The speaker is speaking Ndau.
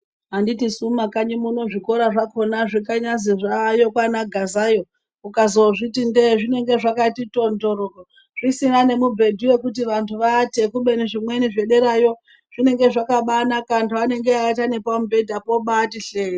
Anditisu mumakanyi muno zvikora zvakona zvakanyazi zvaayo kwana gazayo ukazozviti ndege zvinenge zvakati tonzvororo zvisina nemibhedhu yekuti vantu vaate kubeni zvimweni zvederayo zvinenge zvakabanaka antu anenge eiata nepamubhedhapo abati hlee.